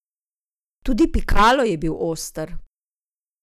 Tudi Pikalo je bil oster.